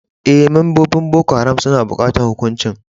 Eh, membobin Boko Haram suna bukatan hukuncin.